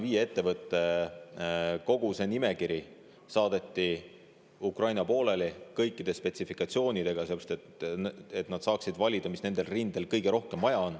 Kogu see nimekiri saadeti Ukraina poolele kõikide spetsifikatsioonidega, et nad saaksid valida, mis nendel rindel kõige rohkem vaja on.